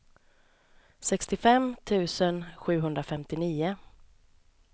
sextiofem tusen sjuhundrafemtionio